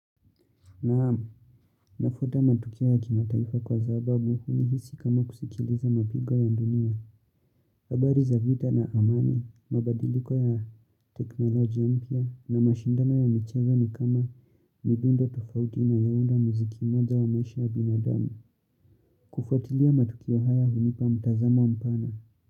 Naam, nafuata matukio ya kimataifa kwa sababu unihisi kama kusikiliza mapigo ya dunia. Habari za vita na amani, mabadiliko ya teknoloji ama pia na mashindano ya michezo ni kama midundo tofauti inayounda muziki mmoja wa maisha ya binadamu. Kufuatilia matukio haya unipa mtazamo mpana.